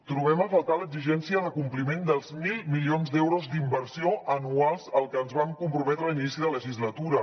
trobem a faltar l’exigència de compliment dels mil milions d’euros d’inversió anuals als que ens vam comprometre a inici de legislatura